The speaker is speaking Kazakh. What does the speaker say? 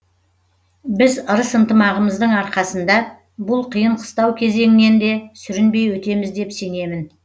біз ырыс ынтымағымыздың арқасында бұл қиын қыстау кезеңнен де сүрінбей өтеміз деп сенемін